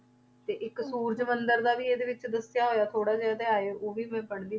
ਤੇ ਇੱਕ ਸੂਰਜ ਮੰਦਰ ਦਾ ਵੀ ਇਹਦੇ ਵਿੱਚ ਦੱਸਿਆ ਹੋਇਆ ਥੋੜ੍ਹਾ ਜਿਹਾ ਅਧਿਆਏ ਉਹ ਵੀ ਮੈਂ ਪੜ੍ਹਦੀ,